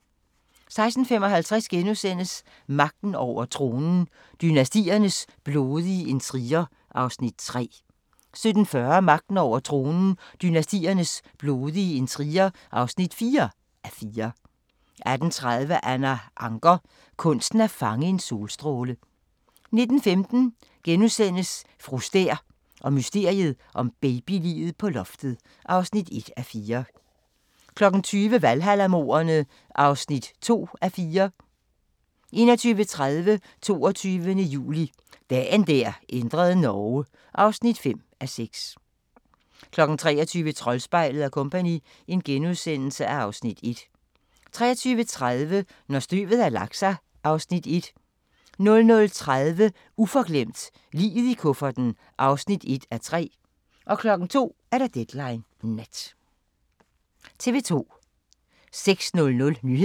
16:55: Magten over tronen – dynastiernes blodige intriger (3:4)* 17:40: Magten over tronen – dynastiernes blodige intriger (4:4) 18:30: Anna Ancher – kunsten at fange en solstråle 19:15: Fru Stæhr og mysteriet om babyliget på loftet (1:4)* 20:00: Valhalla-mordene (2:4) 21:30: 22. juli – Dagen der ændrede Norge (5:6) 23:00: Troldspejlet & Co. (Afs. 1)* 23:30: Når støvet har lagt sig (Afs. 1) 00:30: Uforglemt: Liget i kufferten (1:3) 02:00: Deadline Nat